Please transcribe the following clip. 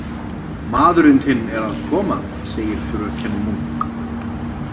Maðurinn þinn er að koma, segir fröken Munk.